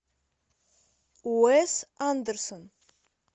уэс андерсон